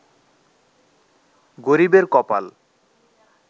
গরিবের কপাল